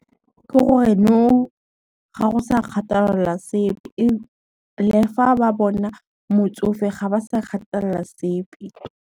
Ke gore nou, ga go sa kgathalela sepe ebile fa ba bona motsofe ga ba sa kgathalela sepe.